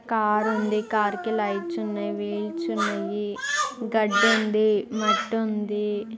Car ఉంది car కి lights ఉన్నాయివీల్స్ ఉన్నాయిగడ్డి ఉంది మట్టి ఉంది.